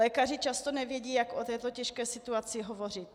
Lékaři často nevědí, jak o této těžké situaci hovořit.